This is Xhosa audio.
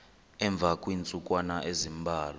emva kweentsukwana ezimbalwa